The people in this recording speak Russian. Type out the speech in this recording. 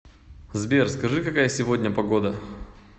сбер скажи какая сегодня погода